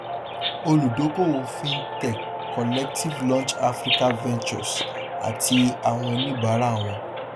olùdókòwò fintech collective launch africa ventures àti àwọn oníbàárà wọn